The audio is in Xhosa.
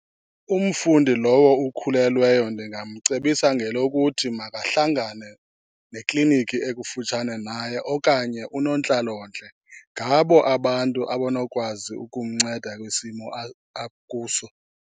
Umfundi lowo ukhulelweyo ndingamcebisa ngelokuthi makahlangane nekliniki ekufutshane naye okanye unontlalontle. Ngabo abantu abanokwazi ukumnceda kwisimo akuso.